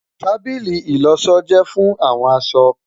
Tábìlì ìlọṣọ jẹ fun awọn aṣọ